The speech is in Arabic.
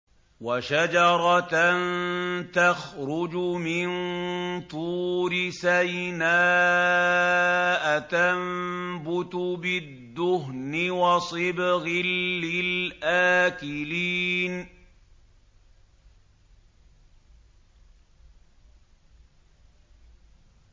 وَشَجَرَةً تَخْرُجُ مِن طُورِ سَيْنَاءَ تَنبُتُ بِالدُّهْنِ وَصِبْغٍ لِّلْآكِلِينَ